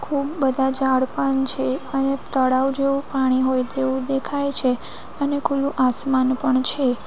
ખૂબ બધા ઝાડપાન છે અને તળાવ જેવું પાણી હોય તેવું દેખાય છે અને ખુલ્લુ આસમાન પણ છે.